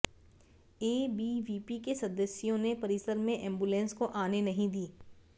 ABVP के सदस्यों ने परिसर में एंबुलेंस को आने नहीं दी